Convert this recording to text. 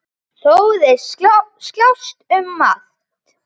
Þó þeir slást um margt.